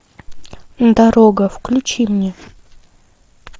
дорога включи мне